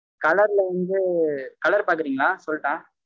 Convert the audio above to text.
colour ல வந்து colour பாக்கறீங்க லா? சொல்லட்டா?